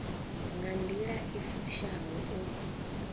nga nḓila i fushaho u